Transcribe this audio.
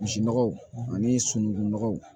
Misi nɔgɔ ani sunugun nɔgɔw